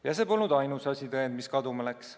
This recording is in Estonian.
Ja see polnud ainus asitõend, mis kaduma läks.